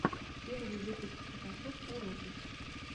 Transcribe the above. первый выпуск фотошоп уроки